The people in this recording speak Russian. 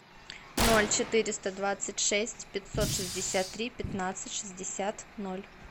ноль четыреста двадцать шесть пятьсот шестьдесят три пятнадцать шестьдесят ноль